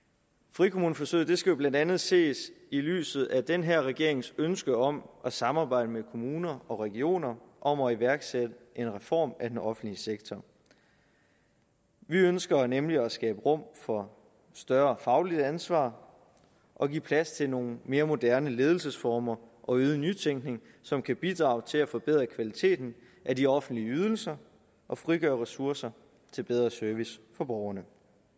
frikommuneforsøget skal jo blandt andet ses i lyset af den her regerings ønske om at samarbejde med kommuner og regioner om at iværksætte en reform af den offentlige sektor vi ønsker nemlig at skabe rum for større fagligt ansvar og give plads til nogle mere moderne ledelsesformer og øget nytænkning som kan bidrage til at forbedre kvaliteten af de offentlige ydelser og frigøre ressourcer til bedre service for borgerne